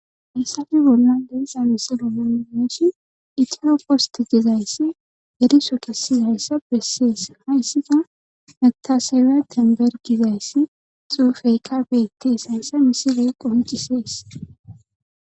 Hayssafi bolla deisa misilo monneeshi itiro postitizayssi eriso kessizayssa bessees hayssida natasewe tenbergizayssi xuufeyka betesayssa misiley qoncisees.